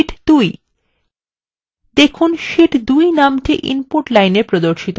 দেখুন শীট 2 নামটি input line এ প্রদর্শিত হচ্ছে